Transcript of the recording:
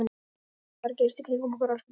Hvað er að gerast í kringum okkur, elsku barn?